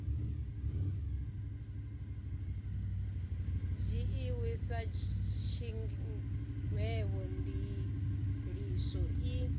dzhiiwi sa tshigwevho ndiliso i